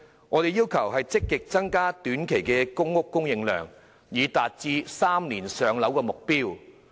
我們要求政府積極增加短期的公屋供應量，以達致3年"上樓"的目標。